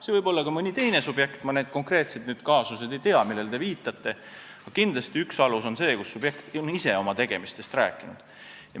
See võib olla ka mõni teine subjekt, ma konkreetselt neid kaasuseid ei tea, millele te viitate, aga kindlasti on üks aluseid see, kui subjekt on ise oma tegemistest rääkinud.